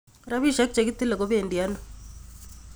Rapishek chekitile kobedi ano